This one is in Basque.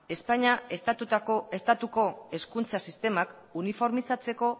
espainia estatuko hezkuntza sistemak uniformizatzeko